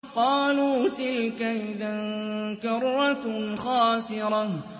قَالُوا تِلْكَ إِذًا كَرَّةٌ خَاسِرَةٌ